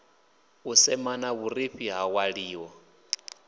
u semana vhurifhi ha ṅwaliwa